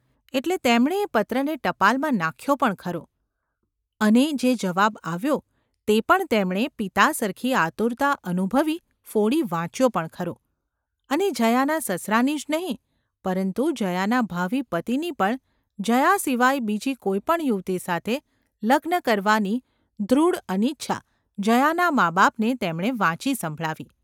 એટલે તેમણે એ પત્રને ટપાલમાં નાખ્યો પણ ખરો; અને જે જવાબ આવ્યો તે પણ તેમણે પિતા સરખી આતુરતા અનુભવી ફોડી વાંચ્યો પણ ખરો; અને જયાના સસરાની જ નહિ પરંતુ જયાના ભાવિ પતિની પણ જયા સિવાય બીજી કોઈ પણ યુવતી સાથે લગ્ન કરવાની દૃઢ અનિચ્છા જયાનાં માબાપને તેમણે વાંચી સંભળાવી.